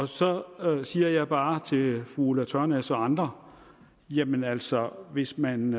så siger jeg bare til fru ulla tørnæs og andre jamen altså hvis man